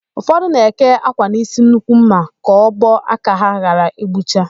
Ụfọdụ na-eke ákwà n'ísí nnukwu ḿmà ka ọbọ aka ha ghara ịgbụcha.